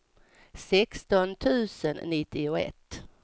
sexton tusen nittioett